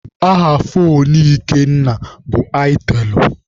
Aha foonu Ikenna bụ aitelụ.